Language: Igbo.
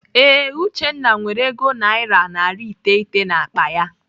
Ee, Uchenna nwere ego naira narị iteghete n'akpa ya.